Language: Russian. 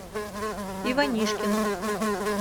иванишкин